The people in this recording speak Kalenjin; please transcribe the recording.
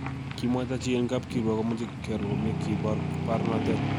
Kemwaita chi en kap kiruok komoche kearor komie kibor baornatet.